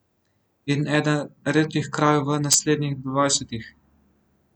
In eden redkih krajev v naslednjih dvajsetih.